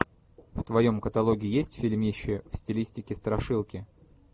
в твоем каталоге есть фильмище в стилистике страшилки